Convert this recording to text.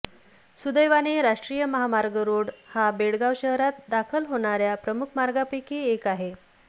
सुदैवाने राष्ट्रीय महामार्ग रोड हा बेळगाव शहरात दाखल होणाऱ्या प्रमुख मार्गांपैकी एक आहे